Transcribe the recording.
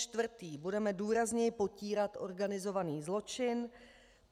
Čtvrtý: budeme důrazněji potírat organizovaný zločin.